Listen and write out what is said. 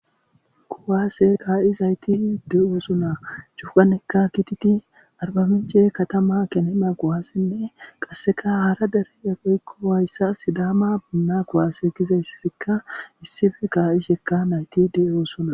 Kuwaase kaa7izayti de7oo suna cupanekka kititi arbamiche katama kenena quwaassinne qasseka hara dere yaqeykkowayssa sidaama bunna kuwaase gizayssifikka issife kaa7ishekka nayti de7oo suna